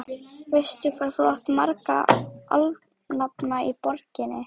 Veistu, hvað þú átt marga alnafna í borginni?